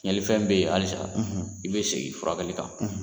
Tiɲɛli fɛn be yen alisa i be segin i furakɛli kan